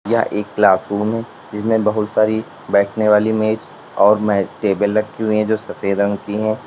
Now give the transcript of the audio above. यह एक क्लासरूम जिसमें बहुत सारी बैठने वाली मेज और टेबल रखी हुई हैं जो सफेद रंग की हैं।